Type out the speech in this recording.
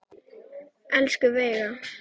Elsku Veiga.